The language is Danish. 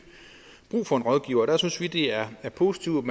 brug for en rådgiver der synes vi det er positivt